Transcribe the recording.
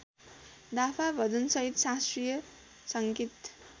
दाफा भजनसहित शास्त्रीय सङ्गीत